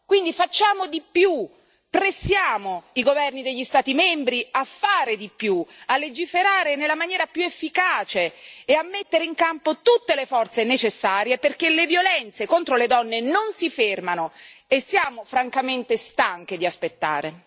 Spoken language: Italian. Quindi facciamo di più, pressiamo i governi degli Stati membri a fare di più, a legiferare nella maniera più efficace e a mettere in campo tutte le forze necessarie perché le violenze contro le donne non si fermano e siamo francamente stanche di aspettare.